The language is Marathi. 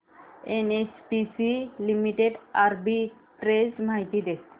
एनएचपीसी लिमिटेड आर्बिट्रेज माहिती दे